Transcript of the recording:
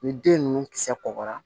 Ni den ninnu kisɛ kɔgɔra